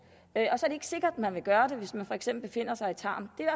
og så er det ikke sikkert man vil gøre det hvis man for eksempel befinder sig i tarm det er